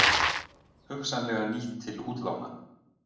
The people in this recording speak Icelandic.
Hugsanlega nýtt til útlána